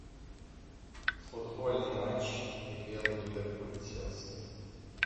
футбольный матч апл ливерпуль и челси